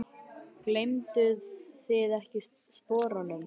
Gleymduð þið ekkert sporunum?